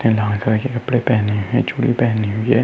कपड़े पहने हैं और चूड़ी पहने हुए हैं।